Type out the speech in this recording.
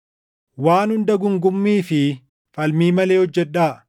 Waan hunda guungummii fi falmii malee hojjedhaa;